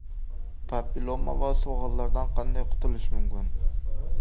Papilloma va so‘gallardan qanday qutulish mumkin?